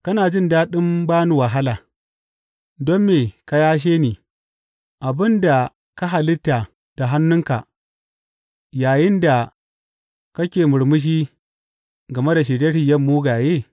Kana jin daɗin ba ni wahala, don me ka yashe ni, abin da ka halitta da hannunka, yayinda kake murmushi game da shirye shiryen mugaye?